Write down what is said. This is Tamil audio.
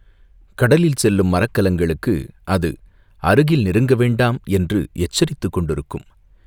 கடலில் செல்லும் மரக்கலங்களுக்கு அது அருகில் நெருங்க வேண்டாம் என்று எச்சரித்துக் கொண்டிருக்கும்.